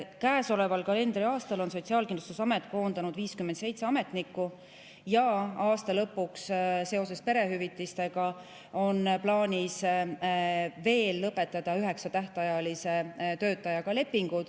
Käesoleval kalendriaastal on Sotsiaalkindlustusamet koondanud 57 ametnikku ja aasta lõpuks – seoses perehüvitistega – on plaanis lõpetada lepingud veel üheksa tähtajalise töötajaga.